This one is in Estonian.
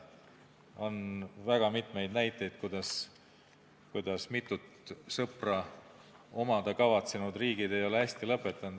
On väga mitmeid näiteid, kuidas mitut sõpra omada kavatsenud riigid ei ole hästi lõpetanud.